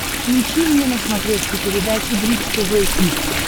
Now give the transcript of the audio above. включи мне на смотрешке передачу бридж тв хитс